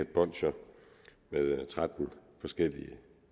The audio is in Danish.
bolsjer med tretten forskellige